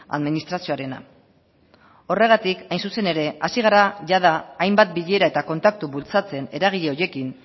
administrazioarena horregatik hain zuzen ere hasi gara jada hainbat bilera eta kontaktu bultzatzen eragile horiekin